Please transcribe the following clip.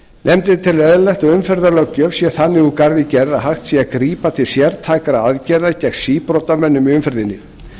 nefndin telur eðlilegt að umferðarlöggjöf sé þannig úr garði gerð að hægt sé að grípa til sértækra aðgerða gegn síbrotamönnum í umferðinni